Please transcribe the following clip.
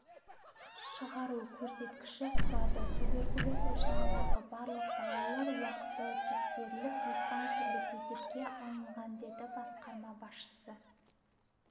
шығару көрсеткіші құрады туберкулез ошағындағы барлық балалар уақытылы тексеріліп диспансерлік есепке алынған деді басқарма басшысы